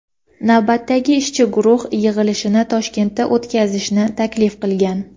navbatdagi ishchi guruh yig‘ilishini Toshkentda o‘tkazishni taklif qilgan.